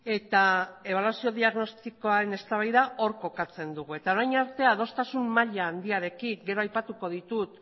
eta ebaluazio diagnostikoaren eztabaida hor kokatzen dugu eta orain arte adostasun maila handiarekin gero aipatutako ditut